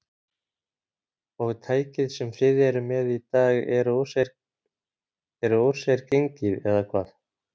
Og tækið sem þið eruð með í dag eru úr sér gengið, eða hvað?